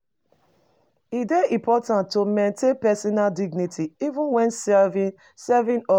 E dey important to maintain personal dignity, even when serving serving others.